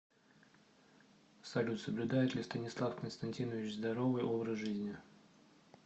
салют соблюдает ли станислав константинович здоровый образ жизни